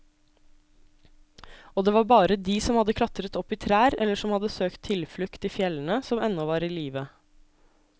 Og det var bare de som hadde klatret opp i trær eller som hadde søkt tilflukt i fjellene, som ennå var i live.